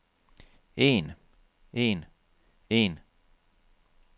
en en en